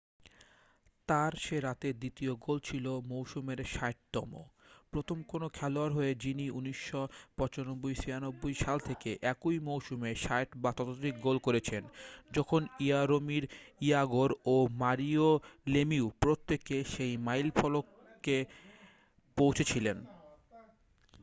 তার সে রাতের দ্বিতীয় গোল ছিল মৌসুমের 60তম প্রথম কোন খেলোয়াড় হয়ে যিনি 1995-96 সাল থেকে একই মৌসুমে 60 বা ততোধিক গোল করেছেন যখন ইয়ারোমির ইয়াগোর ও মারিও লেমিউ প্রত্যেকে সেই মাইলফলকে পৌঁছেছিলেন